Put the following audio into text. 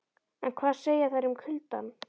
En hvað segja þær um kuldann?